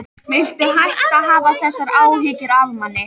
Viltu hætta að hafa þessar áhyggjur af manni!